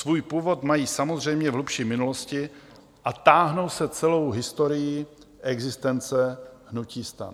Svůj původ mají samozřejmě v hlubší minulosti a táhnou se celou historií existence hnutí STAN.